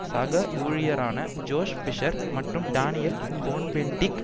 சக ஊழியரான Joschka Fischer மற்றும் டானியல் கோன்பென்டிட்